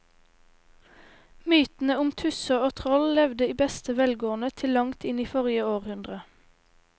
Mytene om tusser og troll levde i beste velgående til langt inn i forrige århundre.